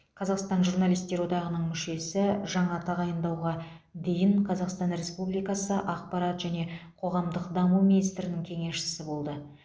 қазақстан журналистер одағының мүшесі жаңа тағайындауға дейін қазақстан республикасы ақпарат және қоғамдық даму министрінің кеңесшісі болды